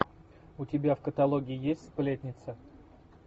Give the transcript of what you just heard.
у тебя в каталоге есть сплетница